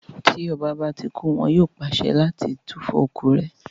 Tí ọba bá ti kú, wọn yóò pàṣẹ kí wọ́n túfọ̀ ikú rẹ̀